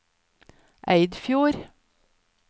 Eidfjord